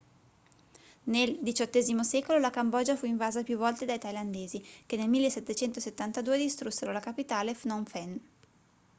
nel xviii secolo la cambogia fu invasa più volte dai thailandesi che nel 1772 distrussero la capitale phnom phen